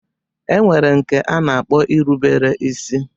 E nwere nke a na-akpọ ilubere isi